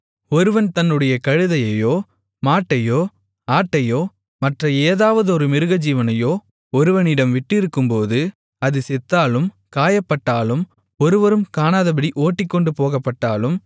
ஒருவன் தன்னுடைய கழுதையையோ மாட்டையோ ஆட்டையோ மற்ற ஏதாவதொரு மிருகஜீவனையோ ஒருவனிடம் விட்டிருக்கும்போது அது செத்தாலும் காயப்பட்டாலும் ஒருவரும் காணாதபடி ஓட்டிக்கொண்டு போகப்பட்டாலும்